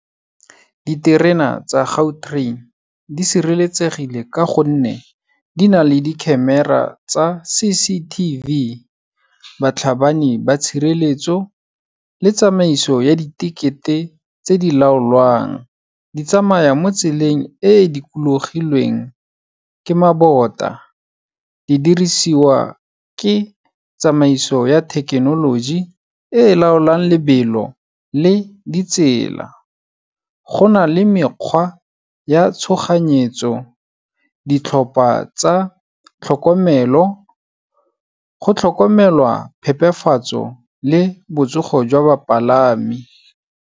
Diterena tsa Gautrain, di sireletsegile ka gonne di na le di-camera-a tsa C_C_T_V. Batlhabani ba tshireletso le tsamaiso ya di-ticket-e tse di laolwang, di tsamaya mo tseleng e dikologilweng ke mabota. Di dirisiwa ke tsamaiso ya thekenoloji e laolang lebelo le di tsela. Go na le mekgwa ya tshoganyetso. Ditlhopha tsa tlhokomelo, go tlhokomelwa phepafatso le botsogo jwa bapalami.